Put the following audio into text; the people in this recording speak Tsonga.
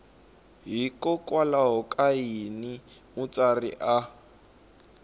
hikokwalaho ka yini mutsari a